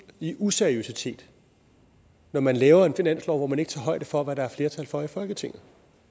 i useriøsitet når man laver en finanslov hvor man ikke tager højde for hvad der er flertal for i folketinget